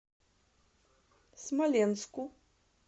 смоленску